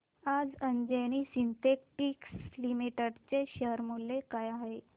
आज Anjani Synthetics Limited चे share मूल्य काय आहे